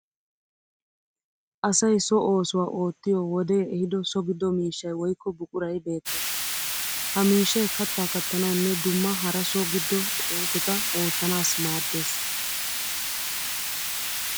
Asay so oosuwa oottiyo wodee ehiido so giddo miishshay woyikko buquray beettees. Ha miishshay kattaa kattanawunne dumma hara so giddo oosota oottanas maaddees.